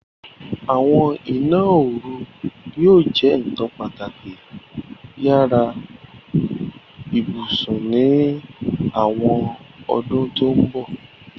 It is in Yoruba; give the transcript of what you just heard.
Àwọn ìná-orù yóò jẹ́ nkan pátàkì yàrà-íbusùn ni àwọn ọ̀dún tó n bọ̀.